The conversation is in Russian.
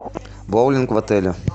боулинг в отеле